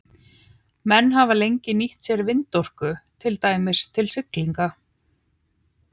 Menn hafa lengi nýtt sér vindorku, til dæmis til siglinga.